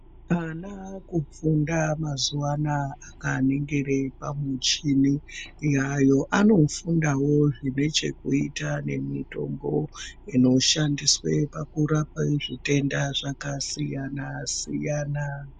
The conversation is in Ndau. Vana kufunda mazuva anaya vakaningire pamichini yaayo, anofundawo zvinechekuita nemitombo inoshandiswe pakurapa zvitenda zvakasiyana-siyana.